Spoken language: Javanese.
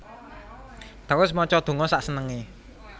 Terus maca donga sak senengé